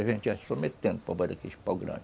A gente paus grandes.